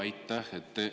Aitäh!